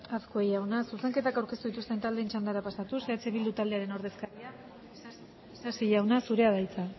azkue jauna zuzenketak aurkeztu dituzten txandara pasatuz eh bildu taldearen ordezkaria isasi jauna zurea da hitza